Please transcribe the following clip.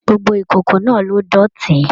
Gbogbo ìkòkò náà ló dótì.